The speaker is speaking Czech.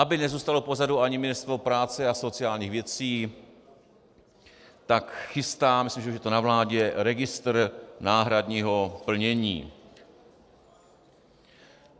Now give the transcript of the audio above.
Aby nezůstalo pozadu ani Ministerstvo práce a sociálních věcí, tak chystá, myslím, že už je to na vládě, registr náhradního plnění.